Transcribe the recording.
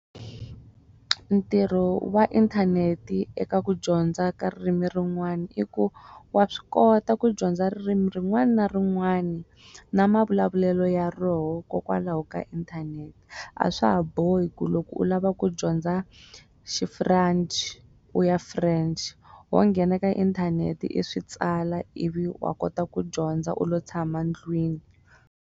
Ntirho wa inthaneti eka ku dyondza ka ririmi rin'wana i ku wa swi kota ku dyondza ririmi rin'wana na rin'wana na mavulavulelo ya rona hikokwalaho ka inthanete a swa ha bohi ku loko u lava ku dyondza xifuranchi u ya French ho nghena ka inthanete i swi tsala i vi wa kota ku dyondza u lo tshama ndlwini.